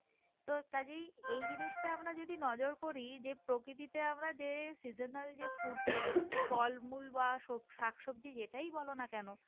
তো কাজেই এই জিনিসটা যদি আমরা নজর করি যে প্রকৃতিতে আমরা যে seasonal যে fruit অ্যাঁ ফল মূল বাহঃ সবজি শাকসবজি যেটাই বলো না কেন,